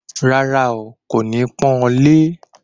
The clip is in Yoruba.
Rárá, n kò ní pọ́n ọ lé